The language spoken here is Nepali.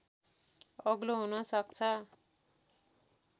अग्लो हुन सक्छ